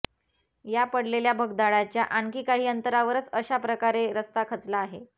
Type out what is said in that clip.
या पडलेल्या भगदाडाच्या आणखी काही अंतरावरच अशा प्रकारे रस्ता खचला आहे